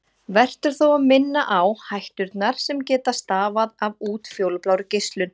Vert er þó að minna á hætturnar sem geta stafað af útfjólublárri geislun.